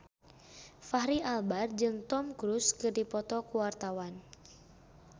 Fachri Albar jeung Tom Cruise keur dipoto ku wartawan